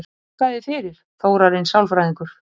Þakka þér fyrir, Þórarinn sálfræðingur